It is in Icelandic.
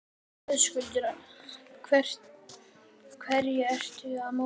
Höskuldur: Hverju ertu að mótmæla?